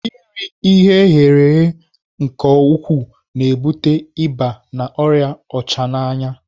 Iri ihe eghere eghe nke ukwuu na-ebute ịba na ọrịa ọchananya.